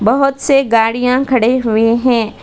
बहुत से गाड़ियां खड़े हुए हैं।